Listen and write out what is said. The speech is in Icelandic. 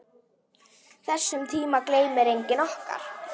Þessum tíma gleymir enginn okkar.